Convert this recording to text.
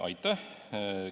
Aitäh!